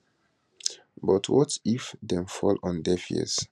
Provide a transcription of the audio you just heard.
but what if what if dem fall on deaf ears